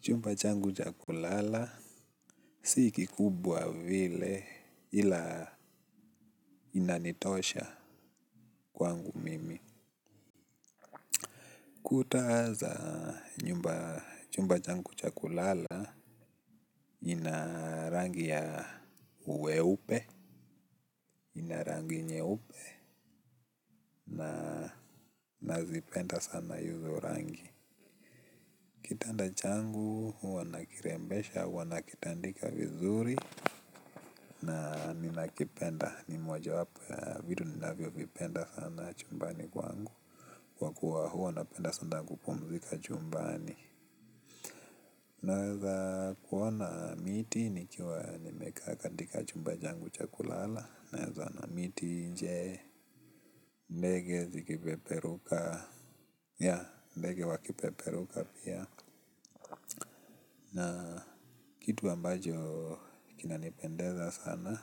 Chumba changu cha kulala si kikubwa vile. Ila inanitosha kwangu mimi. Kuta za chumba changu cha kulala ina rangi ya uweupe ina rangi nyeupe na nazipenda sana hizo rangi. Kitanda changu huwa nakirembesha huwa nakitandika vizuri. Ninakipenda. Ni moja wapo ya vitu ninavyo vipenda sana chumbani kwangu kwa kuwa hua napenda sana kupumzika chumbani. Naweza kuona miti nikiwa nimekaa katika chumba changu cha kulala. Naweza ona miti nje ndege zikipeperuka ya ndege wakipeperuka pia. Na kitu ambacho kinanipendeza sana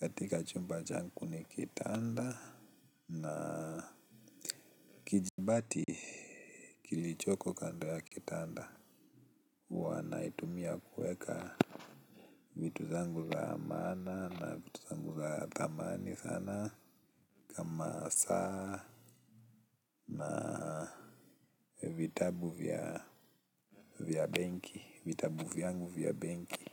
katika chumba changu ni kitanda na kijibati kilichoko kando ya kitanda. Huwa naitumia kueka vitu zangu za maana na vitu zangu za thamani sana Masa na vitabu vya vya benki. Vitabu vyangu vya benki.